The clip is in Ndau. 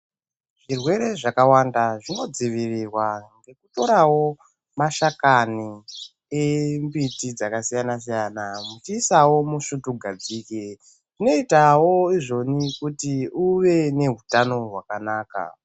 Zvirwere zvakawanda zvinodzivirirwa ngekutorawo mashakani embiti dzakasiyana- siyana muchiisawo musvutugadzike zvinoitawo izvoni kuti uve neutano hwakanaka.